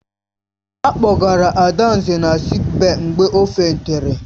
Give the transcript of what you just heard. A kpọgara Adanze na sịịk bèyí mgbe ọ fèntịri.